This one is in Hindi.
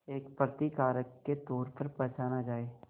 एक प्रतिकारक के तौर पर पहचाना जाए